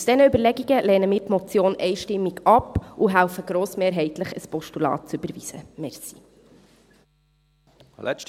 Aufgrund dieser Überlegungen lehnen wir die Motion einstimmig ab und helfen grossmehrheitlich, ein Postulat zu überweisen.